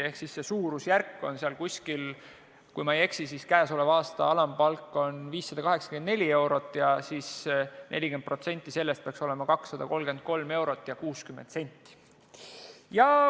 Ehk siis see suurusjärk on, kui ma ei eksi, selline: käesoleva aasta alampalk on 584 eurot ja siis 40% sellest peaks olema 233 eurot ja 60 senti.